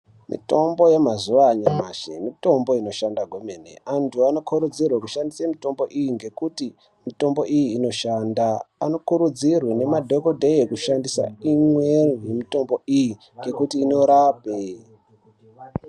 Mitombo yamazuva anyamashi mitombo inoshanda kwemene antu anokurudzirwe kushandise mitombo iyi ngekuti mitombo iyi inoshanda. Anokurudzirwe nemadhogodheya kushandise imwe yemitombo iyi nekuti inorape.